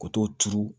Ka t'o turu